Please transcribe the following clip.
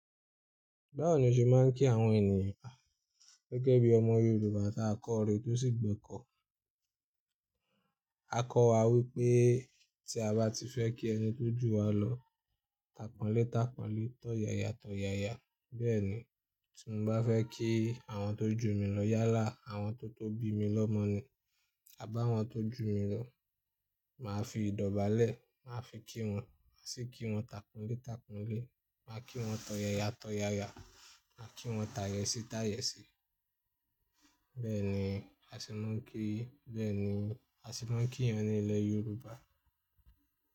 Báwo ni o ṣe máa ń kí àwọn ènìyàn gẹ́gẹ́ bí ọmọ Yorùbá tá a kọ́re tó sì gbẹ́kọ̀ọ́? A kọ wá wípé tí a bá ti fẹ́ kí ẹni tó jù wá lọ, tapọnletapọnle, tọ̀yàyà tọ̀yàyà. Bẹ́ẹ̀ ni tí mo bá fẹ́ kí àwọn tó jù mi lọ yálà, àwọn tó tó bi mi lọ mọ ni. A bàwọn tó jù mi lọ, màá fi ìdọ́ba lẹ̀, màá fi kí wọn, màá sì kí wọn tapọnle tapọnle, màá kí wọn tọ̀yàyà tọ̀yàyà, màá kí wọn tàyẹ̀sì tàyẹ̀sì. Bẹ́ẹ̀ ni a sì máa ń kí, bẹ́ẹ̀ ni a sì máa ń kí yan ní ilẹ̀ Yorùbá.